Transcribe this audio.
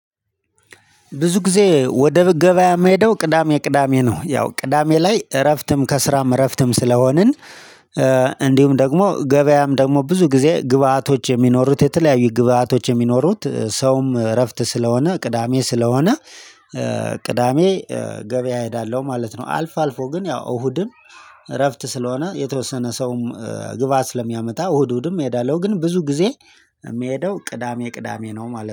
ብዙ ጊዜ ወደ ገበያ መሄደው ቅዳሜ ቅዳሜ ነው ያው ቅዳሜ ላይ እረፍትም ከስራም እረፍትም ስለሆንን። እንዲሁም ደግሞ ገበያም ደግሞ ብዙ ጊዜ ግብአቶች የሚኖሩት የተለያዩ ግብአቶች የሚኖሩት ሰውም እረፍት ስለሆነ ቅዳሜ ስለሆነ ቅዳሜ ገበያ እሄዳለሁ ማለት ነው። አልፎ አልፎ ግን ያው እሁድም። እረፍት ስለሆነ የተወሰነ ሰውም ግባአት ስለሚያመጣ እሁድ እሁድም እሄዳለሁ ግን ብዙ ጊዜ። የምሄደው ቅዳሜ ቅዳሜ ነው ማለት ነው